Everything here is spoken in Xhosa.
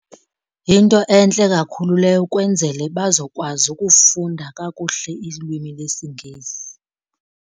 Yinto entle kakhulu leyo ukwenzele bazokwazi ukufunda kakuhle ilwimi lesiNgesi.